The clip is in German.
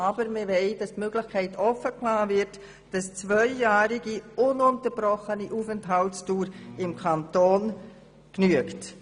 Aber wir wollen, dass grundsätzlich eine zweijährige ununterbrochene Aufenthaltsdauer im Kanton genügt.